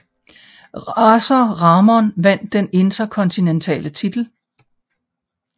Razor Ramon vandt den interkontinentale titel